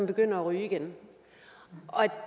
begynder at ryge